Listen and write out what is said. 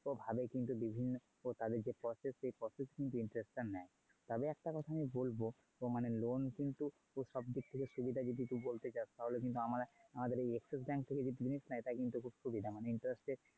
ও ভালোই কিন্তু বিভিন্ন তাদের যে process সেই process কিন্তু interest টা নেয়. তবে একটা কথা আমি বলবো তো মানে loan কিন্তু সব দিক থেকে সুবিধা যদি তুই বলতে চাস তাহলে কিন্তু আমার~আমাদের Axis bank থেকে যদি তুলিস সেটা কিন্তু খুব সুবিধার।